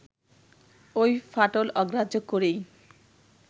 ওই ফাটল অগ্রাহ্য করেই